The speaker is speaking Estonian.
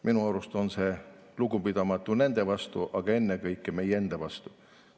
Minu arust on see lugupidamatu nende vastu, aga ennekõike meie enda vastu.